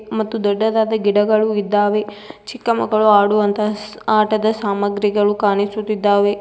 ಮತ್ತು ದೊಡ್ಡದಾದ ಗಿಡಗಳು ಇದ್ದಾವೆ ಚಿಕ್ಕ ಮಕ್ಕಳು ಆಡುವಂತಹ ಆಟದ ಸಾಮಗ್ರಿಗಳು ಕಾಣಿಸುತ್ತಿದ್ದಾವೆ.